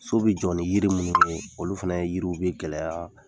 So bi jɔ yiri minnu ye, olu fɛnɛ yiriw bi gɛlɛya